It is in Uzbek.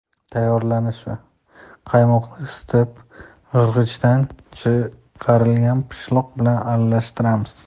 Tayyorlanishi: Qaymoqni isitib, qirg‘ichdan chiqarilgan pishloq bilan aralashtiramiz.